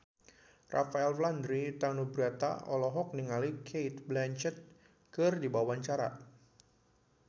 Rafael Landry Tanubrata olohok ningali Cate Blanchett keur diwawancara